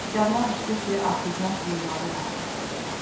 Yadıma düşdü ki, arteziyan quyuları vardı həyətdə.